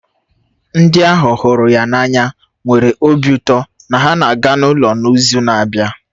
Ndị ahu hụrụ ya n'anya nwere obi ụtọ na ha na-aga ụlọ n'izu na-abịa